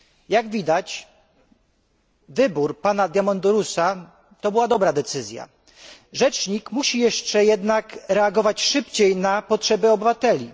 Jak widać, wybór pana Diamandourosa to była dobra decyzja. Rzecznik musi jeszcze jednak reagować szybciej na potrzeby obywateli.